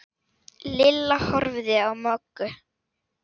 Lilla horfði á Möggu.